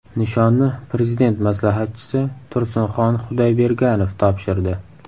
Nishonni Prezident maslahatchisi Tursinxon Xudoyberganov topshirdi.